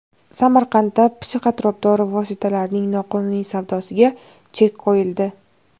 Samarqandda psixotrop dori vositalarining noqonuniy savdosiga chek qo‘yildi.